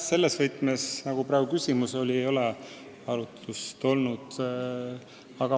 Selles võtmes, nagu praegu küsimuses kõlas, ei ole arutust olnud.